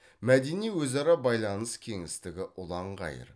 мәдени өзара байланыс кеңістігі ұлан ғайыр